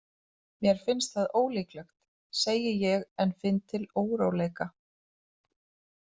Mér finnst það ólíklegt, segi ég en finn til óróleika.